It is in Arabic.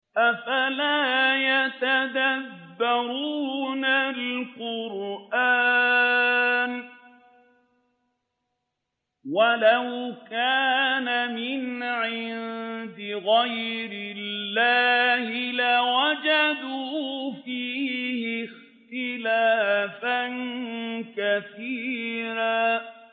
أَفَلَا يَتَدَبَّرُونَ الْقُرْآنَ ۚ وَلَوْ كَانَ مِنْ عِندِ غَيْرِ اللَّهِ لَوَجَدُوا فِيهِ اخْتِلَافًا كَثِيرًا